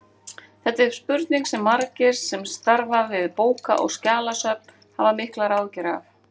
Þetta er spurning sem margir sem starfa við bóka- og skjalasöfn hafa miklar áhyggjur af.